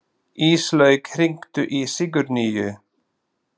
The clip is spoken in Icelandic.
Íslaug, hringdu í Sigurnýju.